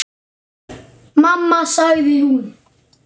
Mamma sagði hún.